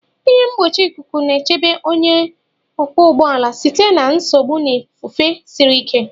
ihe mgbochi ikuku na-echebe onye ọkwọ ụgbọ ala site na nsogbu na ifufe siri ike.